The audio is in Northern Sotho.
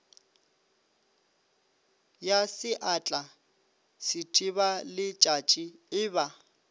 ya seatla sethibaletšatši e ba